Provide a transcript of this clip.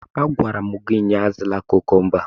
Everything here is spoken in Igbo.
A gwara m gị ụnyaahụ, azụla kukumba!